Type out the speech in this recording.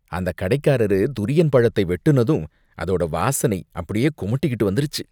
அந்த கடைக்காரரு துரியன் பழத்தை வெட்டுனதும், அதோட வாசனை அப்படியே குமட்டிக்கிட்டு வந்துருச்சு.